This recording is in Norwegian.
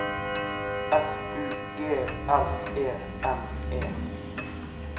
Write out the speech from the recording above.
F U G L E N E